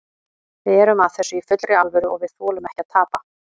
Við erum að þessu í fullri alvöru og við þolum ekki að tapa.